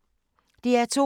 DR2